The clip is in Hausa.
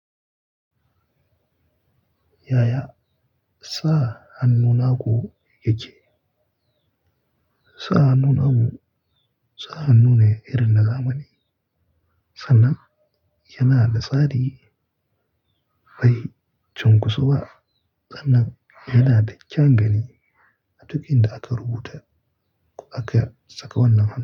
Yaya sa hannu naku yake? Sa hannu namu sa hannu ne irin na zamani sannan yana da tsari mai cunkusuwa wa sannan yana da kyan gani a duk inda aka rubuta ko aka saka wannan han.